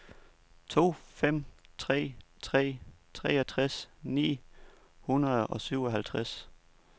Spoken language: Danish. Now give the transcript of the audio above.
to fem tre tre treogtres ni hundrede og syvoghalvtreds